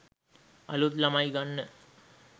අලුත් ළමයි ගන්න